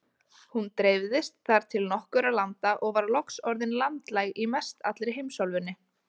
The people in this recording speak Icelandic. Hún dreifðist þar til nokkurra landa og var loks orðin landlæg í mestallri heimsálfunni.